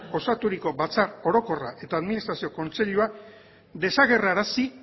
osaturiko batzar orokorra eta administrazio kontseilua desagerrarazi